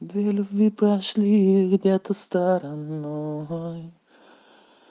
две любви прошли где-то стороной